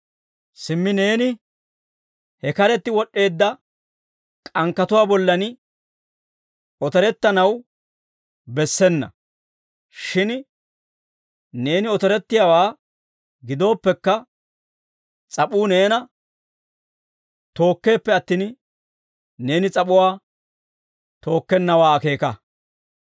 Simmi neeni he karetti wod'd'eedda k'ankkatuwaa bollan otorettanaw bessena; shin neeni otorettiyaawaa gidooppekka, s'ap'uu neena tookkeeppe attin, neeni s'ap'uwaa tookkennawaa akeeka.